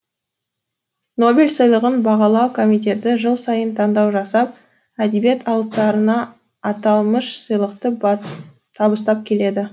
нобель сыйлығын бағалау комитеті жыл сайын таңдау жасап әдебиет алыптарына аталмыш сыйлықты табыстап келеді